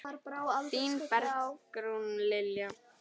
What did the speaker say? Þín Bergrún Lilja.